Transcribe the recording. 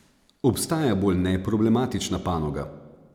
Obstaja bolj neproblematična panoga?